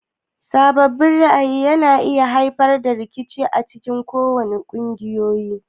Sabanin ra'ayi yana iya haifar da rikici acikin kungiyoyi.